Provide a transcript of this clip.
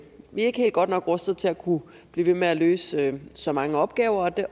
ikke er helt godt nok rustet til at kunne blive ved med at løse så mange opgaver det